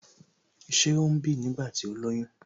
Ṣé ó ń bì nígbà tí ó lóyún?